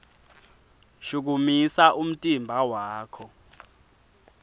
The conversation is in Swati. shukumisa umtimba wakho